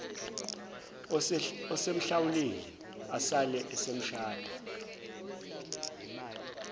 esemhlawulile asale esemshada